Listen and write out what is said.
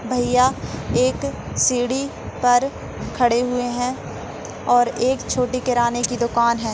भैया एक सीडी पर खड़े हुए है और एक छोटे किराने की दुकान है।